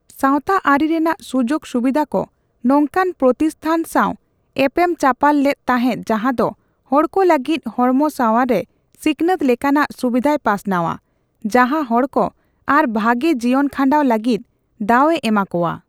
ᱥᱟᱣᱛᱟᱟᱹᱨᱤ ᱨᱮᱱᱟᱜ ᱥᱩᱡᱳᱜᱽ ᱥᱩᱵᱤᱫᱷᱟᱠᱚ ᱱᱚᱝᱠᱟᱱ ᱯᱨᱚᱛᱤᱥᱴᱷᱟᱱ ᱥᱟᱣ ᱮᱯᱮᱢ ᱪᱟᱯᱟᱞ ᱞᱮᱫ ᱛᱟᱸᱦᱮᱫ ᱡᱟᱸᱦᱟ ᱫᱚ ᱦᱚᱲᱠᱚ ᱞᱟᱹᱜᱤᱫ ᱦᱚᱲᱢᱚ ᱥᱟᱣᱟᱨ ᱥᱮ ᱥᱤᱠᱷᱱᱟᱹᱛ ᱞᱮᱠᱟᱱᱟᱜ ᱥᱩᱵᱤᱫᱷᱟᱭ ᱯᱟᱥᱱᱟᱣᱟ, ᱡᱟᱸᱦᱟ ᱦᱚᱲᱠᱚ ᱟᱨᱚ ᱵᱷᱟᱜᱮ ᱡᱤᱭᱚᱱᱠᱷᱟᱸᱰᱟᱣ ᱞᱟᱹᱜᱤᱫ ᱫᱟᱣ ᱮ ᱮᱢᱟᱠᱚᱣᱟ ᱾